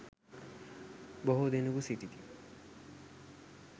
බොහෝ දෙනෙකු සිටිති.